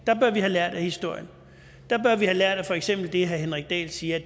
der bør vi have lært af historien der bør vi have lært af for eksempel det herre henrik dahl siger